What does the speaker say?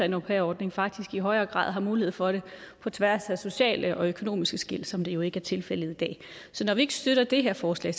en au pair ordning faktisk i højere grad har mulighed for det på tværs af sociale og økonomiske skel som det jo ikke er tilfældet i dag så når vi ikke støtter det her forslag